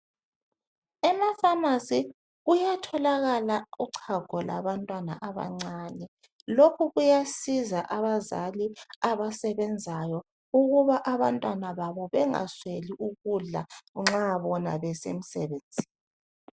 Emapharmacy kuyatholakala uchago lwabantwana abancane, lokhu kuyasiza abazali abasebenzayo ukuba abantwana babo bangasweli ukudla nxa bona besemsebenzini.